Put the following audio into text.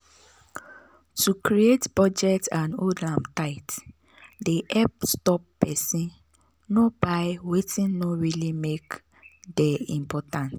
to create budget and hold am tight dey help stop person nor buy wetin no really make dey important.